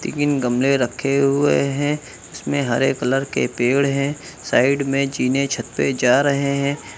तीन गमले रखे हुए हैं इसमें हरे कलर के पेड़ हैं साइड में जीने छत पे जा रहे हैं।